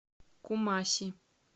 кумаси